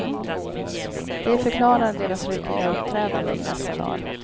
Det förklarar deras ryckiga uppträdande i dessa dagar.